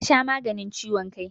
Ta sha maganin ciwon kai.